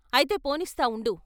అయితే పోనిస్తా ఉండు.